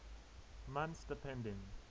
months depending